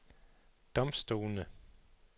domstolene